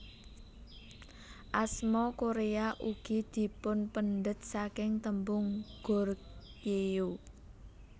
Asma Korea ugi dipunpendhet saking tembung Goryeo